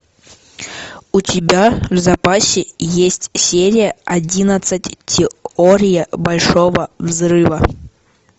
у тебя в запасе есть серия одиннадцать теория большого взрыва